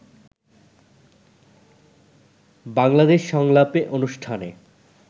বাংলাদেশ সংলাপে অনুষ্ঠানে